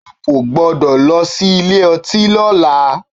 O kò gbọ́dọ̀ lọ sí ilé ọtí lọ́la!